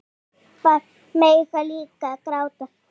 Pabbar mega líka gráta.